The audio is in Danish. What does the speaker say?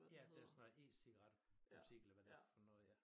Ja der sådan noget e-cigaret butik eller det for noget ja